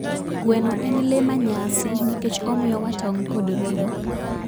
Gweno en lee ma nyasi nikech omiyo wa tong kod ring'o.